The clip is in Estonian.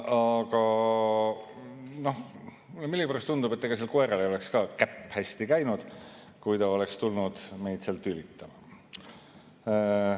Aga mulle millegipärast tundub, et ega sel koeral ei oleks ka käpp hästi käinud, kui ta oleks tulnud meid seal tülitama.